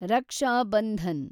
Raksha Bandhan